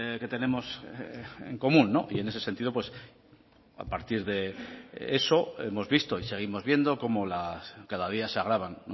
que tenemos en común y en ese sentido a partir de eso hemos visto y seguimos viendo cómo cada día se agravan